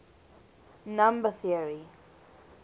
number theory